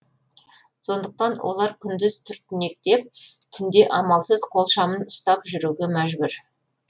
сондықтан олар күндіз түртінектеп түнде амалсыз қол шамын ұстап жүруге мәжбүр